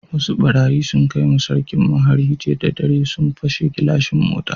Wasu barayi sun kai ma sarkin mu hari jiya da dare, sun pashe gilashin motan.